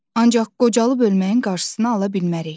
Ancaq qocalıb ölməyin qarşısını ala bilmərik.